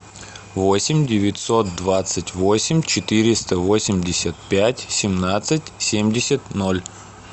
восемь девятьсот двадцать восемь четыреста восемьдесят пять семнадцать семьдесят ноль